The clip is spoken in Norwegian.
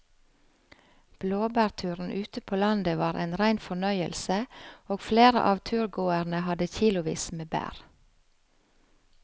Blåbærturen ute på landet var en rein fornøyelse og flere av turgåerene hadde kilosvis med bær.